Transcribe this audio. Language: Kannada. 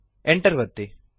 Enter ಅನ್ನು ಒತ್ತಿರಿ